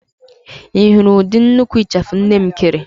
Ị hụrụ ụdị nnukwu ịchafụ nne m kere?